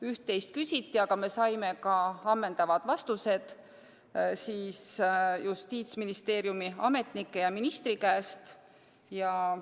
Üht-teist küsiti, aga me saime Justiitsministeeriumi ametnikelt ja ministrilt ammendavad vastused.